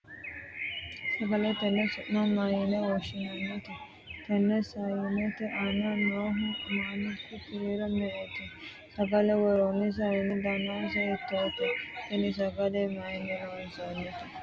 sagale tenne su'ma mayiine woshshinanni? tenne sayiinete aana noohu maanku kiiro me''ete? sagale worroonni sayiine danase hiittoote? tini sagale mayiinni loonsoonnite?